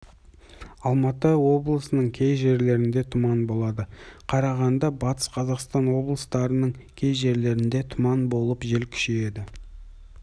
алматы облысының кей жерлерінде тұман болады қарағанды батыс қазақстан облыстарының кей жерлерінде тұман болып жел күшейеді